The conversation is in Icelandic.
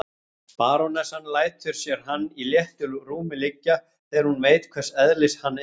Barónessan lætur sér hann í léttu rúmi liggja, þegar hún veit hvers eðlis hann er.